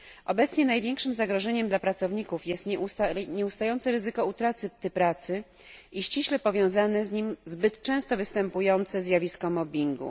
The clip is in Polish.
Obecnie największym zagrożeniem dla pracowników jest nieustające ryzyko utraty pracy i ściśle powiązane z nim zbyt często występujące zjawisko mobbingu.